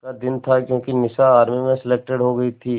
का दिन था क्योंकि निशा आर्मी में सेलेक्टेड हो गई थी